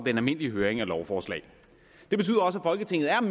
den almindelige høring af lovforslag